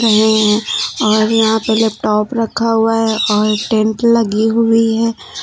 है और यहां पर लैपटॉप रखा हुआ है और टेंट लगी हुई है।